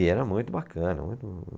E era muito bacana. Muito